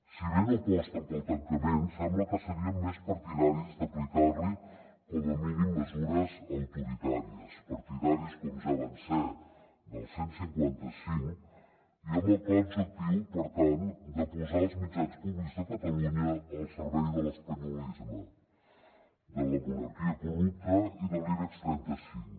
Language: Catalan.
si bé no aposten pel tancament sembla que serien més partidaris d’aplicar li com a mínim mesures autoritàries partidaris com ja van ser del cent i cinquanta cinc i amb el clar objectiu per tant de posar els mitjans públics de catalunya al servei de l’espanyolisme de la monarquia corrupta i de l’ibex trenta cinc